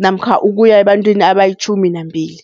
namkha ukuya ebantwini abayitjhumi nambili.